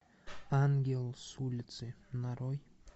ангел с улицы нарой